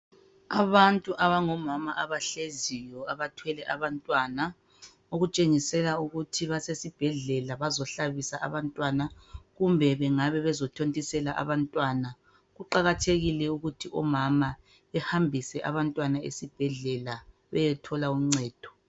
Abantu abangomama abahleziyo abathwele abantwana okutshengisela ukuthi basesibhedlela bazohlabisa abantwana kumbe bengabe bezothontisela abantwana. Kuqakathekile ukuthi omama behambise abantwana esibhedlela beyethola uncedo.